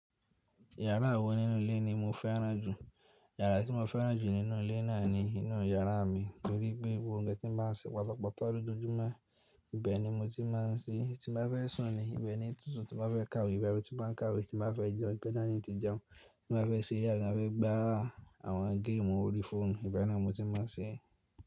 Yàrá wo nínú ilé ni mo fẹ́ràn jù? Yàrá tí mo fẹ́ràn jù nínú ilé náà ni inú yàrá mi, nítorí pé gbogbo ohun tí mo ń ṣe patapata lójoojúmọ́, ibẹ̀ ni mo ti máa ń sí. Tí mo bá fẹ́ sùn ni, ibẹ̀ ni tuntun tí mo bá fẹ́ kàwé, ibi ti mo ń kàwé, tí mo bá fẹ́ jẹun, ibẹ̀ ni á ti jẹun, tí mo bá fẹ́ se yàrá, mo bá fẹ́ gbá àwọn géèmù orí fóònù, ibẹ̀ náà mo ti máa ń ṣe é.